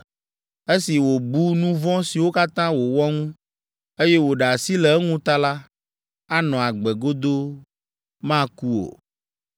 Esi wòbu nu vɔ̃ siwo katã wòwɔ ŋu, eye wòɖe asi le eŋu ta la, anɔ agbe godoo; maku o.